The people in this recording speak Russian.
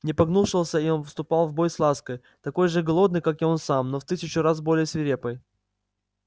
не погнушался он и вступить в бой с лаской такой же голодной как он сам но в тысячу раз более свирепой